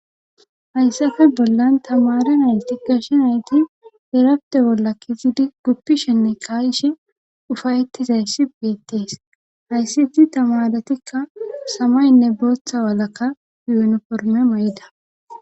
Hayssafe bollan tamaare nayti gashe nayti iraftte bolla kezidi guppishenne kaa7ishe ufayettizayssi beettees hayssi hayssi tamaaretikka samayenne bootha walaka yuunifermme mayida.